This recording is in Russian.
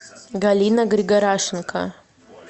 галина григорашенко